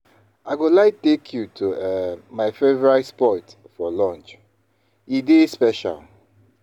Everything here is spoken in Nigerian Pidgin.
I go like take you to um my favorite spot for lunch; e dey special.